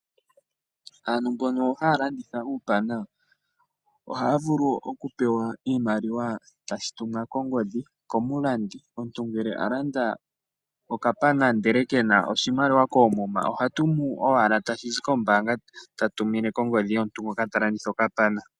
Aantu mbono ha ya landitha uupaana oha ya vulu oku pewa iimaliwa tashi tumwa kongodhi komulandi, omuntu ngele alanda okapana ndele ke na oshimaliwa koomuma oha tumu owala tashi zi kombaanga ta tumine kongodhi yomuntu ngoka ta landitha okapaana.